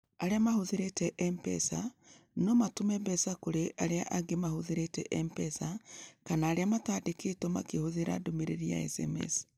Arĩa mahũthĩrĩte M-Pesa no matũme mbeca kũrĩ arĩa angĩ mahũthĩrĩte M-Pesa kana arĩa mataandĩkĩtwo makĩhũthĩra ndũmĩrĩri ya SMS.